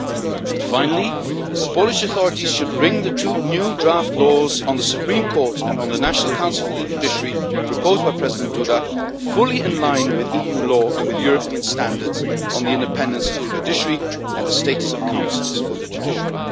And finally, the Polish authorities should bring the two new draft laws on the Supreme Court and on the National Council for the Judiciary, proposed by President Duda, fully into line with EU law and with European standards on the independence of the judiciary and the status of councils for the judiciary.